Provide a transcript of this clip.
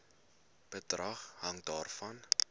bedrag hang daarvan